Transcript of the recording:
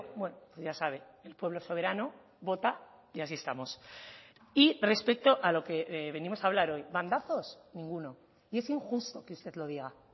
bueno ya sabe el pueblo soberano vota y así estamos y respecto a lo que venimos a hablar hoy bandazos ninguno y es injusto que usted lo diga